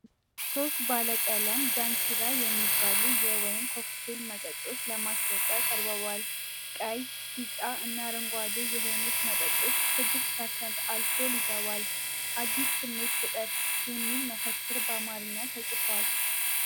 ሶስት ባለቀለም "ዳንኪራ" የሚባሉ የወይን ኮክቴል መጠጦች ለማስታወቂያ ቀርበዋል። ቀይ፣ ቢጫ እና አረንጓዴ የሆኑት መጠጦች 6% አልኮል ይዘዋል። "አዲስ ስሜት ፍጠር" የሚል መፈክር በአማርኛ ተጽፏል።